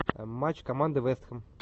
матч команды вест хэм